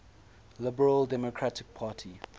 liberal democratic party